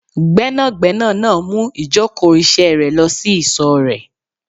Gbẹ́nàgbẹ́nà náà mú ìjókòó ìṣe rẹ lọ sí ìsò rèé